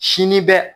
Sini bɛ